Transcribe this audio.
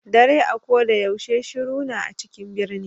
Ɗare a ko ɗa yaushe shiru na a cikin ɓirni